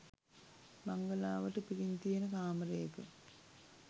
බංගලාවට පිටින් තියෙන කාමරයක.